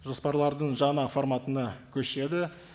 жоспарлардың жаңа форматына көшеді